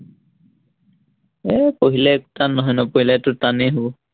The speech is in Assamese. এৰ পঢ়িলে একো টান নহয়, নপঢ়িলেতো টানেই হবষ